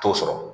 T'o sɔrɔ